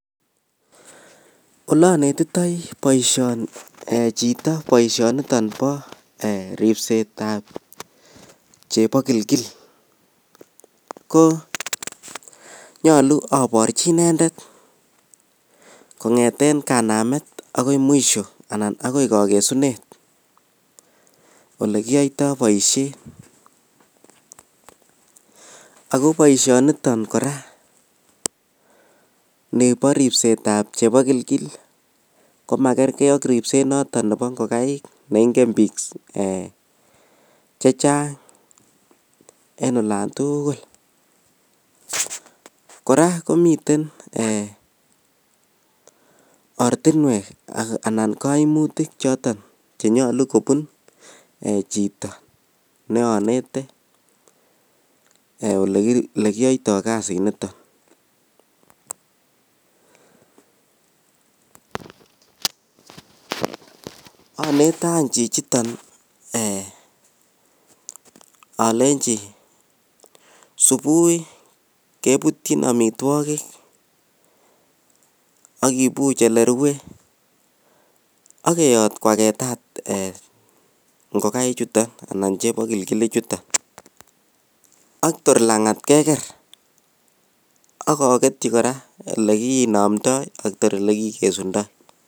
olonetitoi boishoni ,um eeh um chito boishoniton bo ribseetab chebokilgil, ko nyolu oborchi inedet kongeten kanamet agoi mwisho anan ago kogesunet elekiyoitoo boishet, ago boishoniton kora nebo ribseet ab chepogilgil komagergee ak ribseet noton nebo ngogaik neingein biikk chechang en olontugul, kora komiten eeh ortinweek anan koimutik chotn chenyolu kobun chito neonete elekiyoitoo kasit niton, onete any chichiton eeh olenchi subui kebutyin omitwogik ak kibuuch elerue ak keyoot kwagetat ngogaik chuton anan chepogilgil ichuton ak toor langat kegeer ak ogetyi kora elekinomdoi kotor ilegikesundoo.